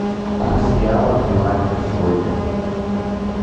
курс реала к юаню на сегодня